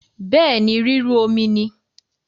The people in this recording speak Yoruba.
Bẹẹ̀ ni, rírú omi ni